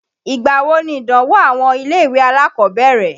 Ìgbà wo nìdánwò àwọn ilé-ìwé alákọ̀ọ́bẹ̀rẹ̀?